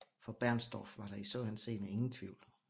For Bernstorff var der i så henseende ingen tvivl